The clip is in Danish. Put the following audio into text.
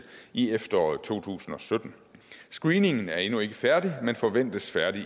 i efteråret to tusind og sytten screeningen er endnu ikke færdig men forventes færdig